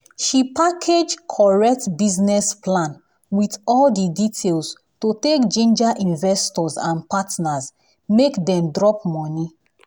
she package correct business plan with all the details to take ginger investors and partners make dem drop money.